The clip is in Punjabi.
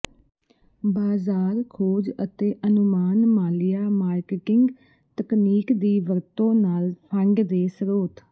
ਬਾਜ਼ਾਰ ਖੋਜ ਅਤੇ ਅਨੁਮਾਨ ਮਾਲੀਆ ਮਾਰਕੀਟਿੰਗ ਤਕਨੀਕ ਦੀ ਵਰਤੋ ਨਾਲ ਫੰਡ ਦੇ ਸਰੋਤ